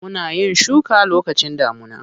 Muna yin shuka lokacin damuna.